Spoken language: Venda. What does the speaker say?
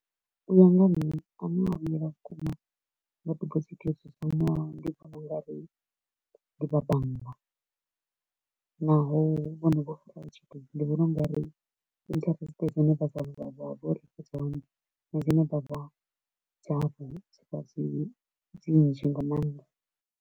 U ya nga ha nṋe a ne a vhuelwa vhukuma nga debosit yo dzudzanywaho ndi vhona u nga ri ndi vha bannga, naho vhone vho ndi vhona u nga ri interest dzine dza dza vha uri fhethu ha hone na dzine dza vha dzavho dzi vha dzi nzhi nga maanḓa.